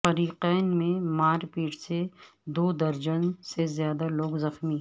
فریقین میں مارپیٹ سے دودرجن سے زائد لوگ زخمی